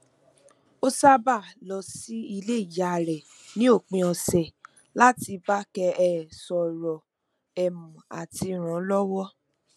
ó sábàa lọ sí ilé ìyá rẹ ní òpin ọsẹ láti bákẹ um sọrọ um àti ràn án lọwọ